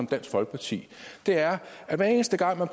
dansk folkeparti det er at hver eneste gang man